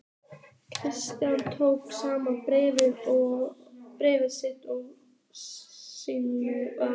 Christian tók saman bréf sín með varúð.